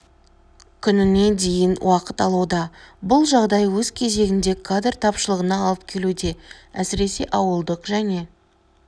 күніне дейін уақыт алуда бұл жағдай өз кезегінде кадр тапшылығына алып келуде әсіресе ауылдық және